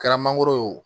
Kɛra mangoro ye o